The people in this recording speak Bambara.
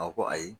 A ko ayi